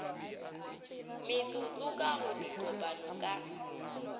metsotso ka go dikopano ka